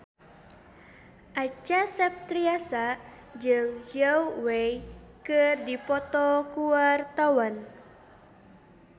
Acha Septriasa jeung Zhao Wei keur dipoto ku wartawan